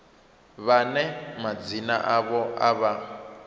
vhane madzina avho a vha